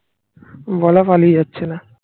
বলা পালিয়ে যাচ্ছে না